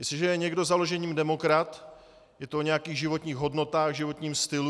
Jestliže je někdo založením demokrat, je to o nějakých životních hodnotách, životním stylu.